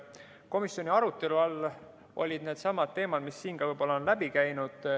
Komisjoni arutelu all olid needsamad teemad, mis siin ka on läbi käinud.